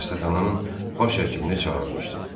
Xəstəxananın baş həkimini çağırmışdım.